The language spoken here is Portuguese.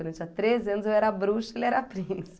Quando eu tinha treze anos, eu era bruxa e ele era